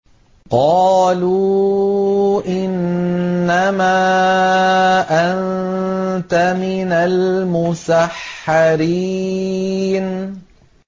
قَالُوا إِنَّمَا أَنتَ مِنَ الْمُسَحَّرِينَ